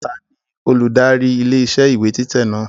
Taàní olùdarí ilé iṣẹ́ ìwé títẹ̀ náà?